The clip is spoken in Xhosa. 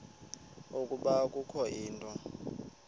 ukuba kukho into